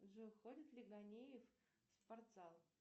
джой ходит ли ганеев в спортзал